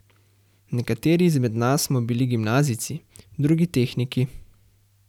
Nekateri izmed nas smo bili gimnazijci, drugi tehniki.